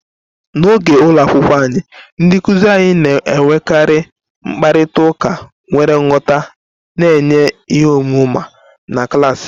N'oge ụlọ akwụkwọ anyị, ndị nkuzi anyị na-enwekarị mkparịta ụka nwere nghọta, na-enye ihe ọmụma na klaasị.